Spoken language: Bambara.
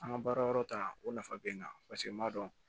An ka baara yɔrɔ ta o nafa bɛ n kan paseke n b'a dɔn